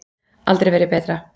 Aldrei verið betra.